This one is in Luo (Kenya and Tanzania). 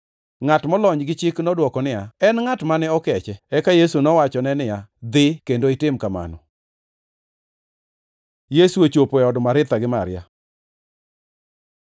Ngʼat molony gi chik nodwoko niya, “En ngʼat mane okeche.” Eka Yesu nowachone niya, “Dhi kendo itim kamano.” Yesu ochopo e od Maritha gi Maria